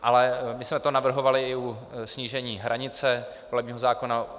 Ale my jsme to navrhovali i u snížení hranice volebního zákona.